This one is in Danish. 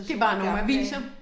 Det bare nogle aviser